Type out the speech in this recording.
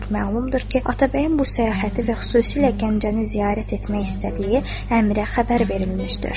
Məlumdur ki, Atabəyin bu səyahəti və xüsusilə Gəncəni ziyarət etmək istədiyi Əmirə xəbər verilmişdir.